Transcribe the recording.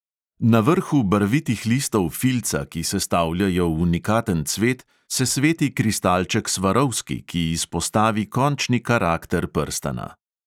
Na vrhu barvitih listov filca, ki sestavljajo unikaten cvet, se sveti kristalček svarovski, ki izpostavi končni karakter prstana.